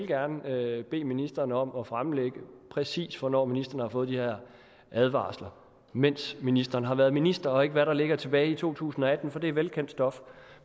gerne vil bede ministeren om at fremlægge præcis hvornår ministeren har fået de her advarsler mens ministeren har været minister og ikke hvad der ligger tilbage i to tusind og atten for det er velkendt stof